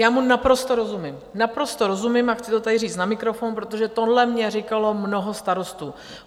Já mu naprosto rozumím, naprosto rozumím a chci to tady říct na mikrofon, protože tohle mně říkalo mnoho starostů.